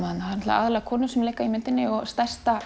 aðallega konur sem leika í myndinni og stærsta